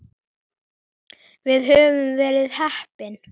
Við höfum verið heppin.